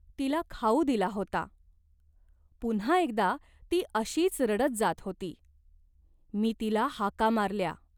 तिला खाऊ दिला होता. पुन्हा एकदा ती अशीच रडत जात होती, मी तिला हाका मारल्या.